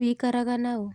Wikaraga naũ?